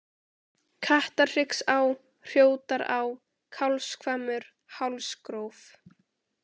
Kattarhryggsá, Hrjótará, Kálfshvammur, Hálsgróf